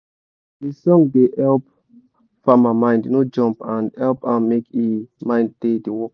de song da help farma mind no jump and hep am make e mind da d work